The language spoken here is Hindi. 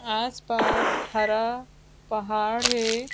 आसपास हरा पहाड़ है।